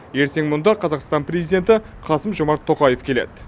ертең мұнда қазақстан президенті қасым жомарт тоқаев келеді